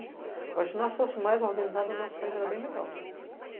Eu acho que se nós fôssemos mais organizadas, o nosso país era bem melhor.